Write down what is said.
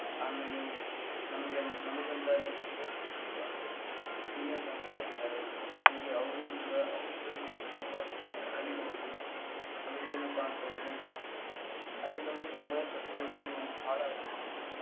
ಆಮೇಲೆ ನಮಗ ಅಲ್ಲಿ ನಮಗೊಂದ ಅಲ್ಲಿ ಹಿರಿಯ ಹುಡುಗುರು ಅಂದ್ರೆ seniors ಅಂತ ಕರಿತಾರೆ ಹಂಗೆ ಅವ್ರು ಕೂಡಾ ಅವರಿಂದಾನು ನಾವ ತುಂಬಾ ಕಲಿಬಹುದು ಆಮೇಲೆ ಏನಪ್ಪಾ ಅಂತ ಅಂದ್ರೆ ಅಲ್ಲಿ ನಮಗೆ ಸಮಯ ಪ್ರಜ್ಞೆಯನ್ನು ಬಾಳ .